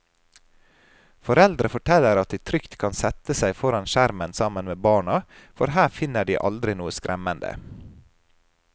Foreldre forteller at de trygt kan sette seg foran skjermen sammen med barna, for her finner de aldri noe skremmende.